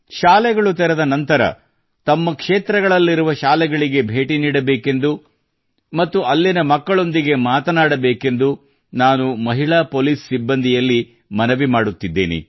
ಶಾಲೆಗಳು ತೆರೆದ ನಂತರ ತಮ್ಮ ಕ್ಷೇತ್ರಗಳಲ್ಲಿರುವ ಶಾಲೆಗಳಿಗೆ ಭೇಟಿ ನೀಡಬೇಕೆಂದು ಮತ್ತು ಅಲ್ಲಿನ ಮಕ್ಕಳೊಂದಿಗೆ ಮಾತನಾಡಬೇಕೆಂದು ನಾನು ಮಹಿಳಾ ಪೊಲೀಸ್ ಸಿಬ್ಬಂದಿಯಲ್ಲಿ ಮನವಿ ಮಾಡುತ್ತಿದ್ದೇನೆ